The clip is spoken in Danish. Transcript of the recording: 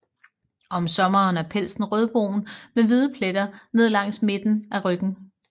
Om sommeren er pelsen rødbrun med hvide pletter ned langs midten af ryggen